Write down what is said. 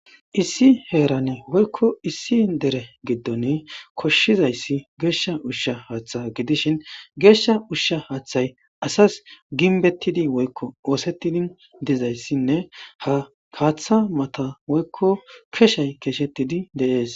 issi heerane woykko issi dere giddon koshshizayssi geeshsha ushsha haaththa gidishin geeshsha ushsha haaththay asas ginbettidi woykko oosettidi dizayssinne ha kaaththa mata woykko kessaey keesettidi de'ees